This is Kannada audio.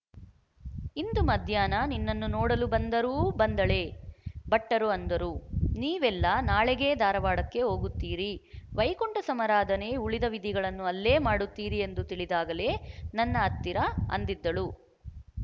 ಇಂದು ಮಧ್ಯಾಹ್ನ ನಿನ್ನನ್ನು ನೋಡಲು ಬಂದರೂ ಬಂದಳೇ ಭಟ್ಟರು ಅಂದರು ನೀವೆಲ್ಲ ನಾಳೆಗೇ ಧಾರವಾಡಕ್ಕೆ ಹೋಗುತ್ತೀರಿ ವೈಕುಂಠಸಮಾರಾಧನೆ ಉಳಿದ ವಿಧಿಗಳನ್ನು ಅಲ್ಲೇ ಮಾಡುತ್ತೀರಿ ಎಂದು ತಿಳಿದಾಗಲೇ ನನ್ನ ಹತ್ತಿರ ಅಂದಿದ್ದಳು